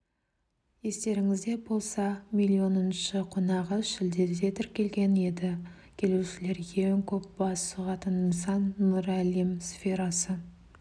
естеріңізде болса миллионыншы қонағы шілдеде тіркелген еді келушілер ең көп бас сұғатын нысан нұр әлем сферасы